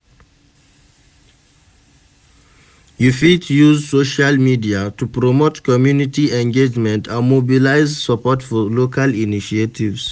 You fit use social media to promote community engagement and mobilize support for local initiatives.